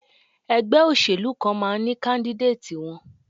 Ẹgbẹ́ òṣèlú kan máa ní káńdídéètì wọn.